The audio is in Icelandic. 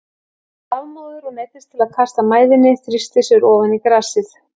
Hann var lafmóður og neyddist til að kasta mæðinni, þrýsti sér ofan í grasið.